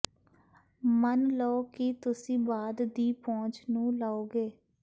ਮੰਨ ਲਓ ਕਿ ਤੁਸੀਂ ਬਾਅਦ ਦੀ ਪਹੁੰਚ ਨੂੰ ਲਓਗੇ